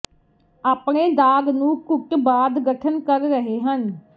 ਆਪਣੇ ਦਾਗ਼ ਨੂੰ ਘੁੱਟ ਬਾਅਦ ਗਠਨ ਕਰ ਰਹੇ ਹਨ